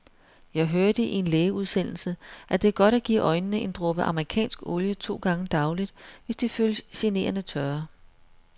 Jeg hørte i en lægeudsendelse, at det er godt at give øjnene en dråbe amerikansk olie to gange daglig, hvis de føles generende tørre.